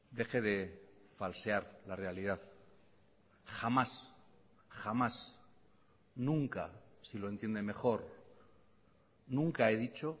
deje de falsear la realidad jamás jamás nunca si lo entiende mejor nunca he dicho